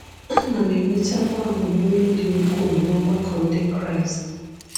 Anam enwetakwa agbamume dị ukwuu n’ọgbakọ ndị kraịst